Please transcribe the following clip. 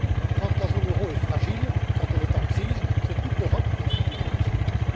Quand la zone euro est fragile, quand elle est en crise, c'est toute l'Europe qui en subit les conséquences.